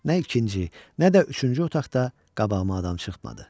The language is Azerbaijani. Nə ikinci, nə də üçüncü otaqda qabağıma adam çıxmadı.